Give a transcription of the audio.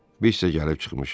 Biz isə gəlib çıxmışıq.